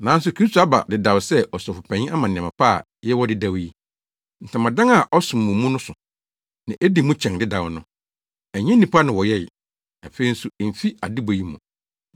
Nanso Kristo aba dedaw sɛ Ɔsɔfopanyin ama nneɛma pa a yɛwɔ dedaw yi. Ntamadan a ɔsom wɔ mu no so, na edi mu kyɛn dedaw no. Ɛnyɛ nnipa na wɔyɛe. Afei nso emfi adebɔ yi mu.